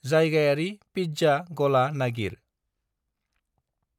जायगायारि पिज्जा गला नागिर।